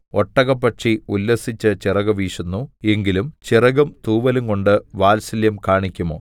ഒട്ടകപ്പക്ഷി ഉല്ലസിച്ച് ചിറക് വീശുന്നു എങ്കിലും ചിറകും തൂവലുംകൊണ്ട് വാത്സല്യം കാണിക്കുമോ